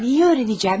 Nəyi öyrənəcəyəm?